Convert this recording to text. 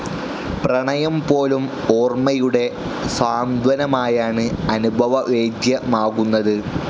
പ്രണയം പോലും ഓർമ്മയുടെ സാന്ത്വനമായാണ് അനുഭവവേദ്യമാകുന്നത്.